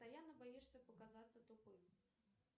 постоянно боишься показаться тупым